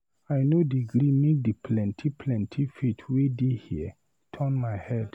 I no dey gree make di plenty plenty faith wey dey here turn my head.